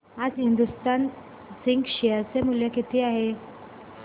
आज Hindustan Zinc share चे मूल्य किती आहे